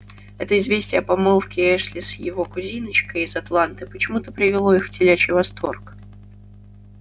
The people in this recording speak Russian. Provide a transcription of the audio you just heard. это известие о помолвке эшли с его кузиночкой из атланты почему-то привело их в телячий восторг